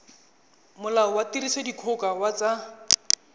molao wa tirisodikgoka wa tsa